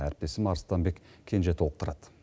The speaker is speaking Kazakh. әріптесім арыстанбек кенже толықтырады